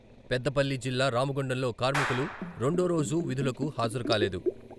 పెద్దపల్లి జిల్లా రామగుండంలో కార్మికులు రెండోరోజూ విధులకు హాజరుకాలేదు.